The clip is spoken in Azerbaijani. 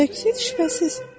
Şübhəsiz.